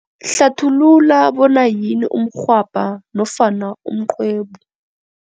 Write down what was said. Hlathulula bona yini umrhwabha nofana umqwebu.